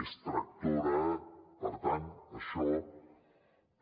és tractora per tant això